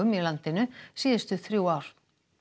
í landinu síðustu þrjú ár